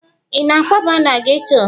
Ị na-akwaba na geto?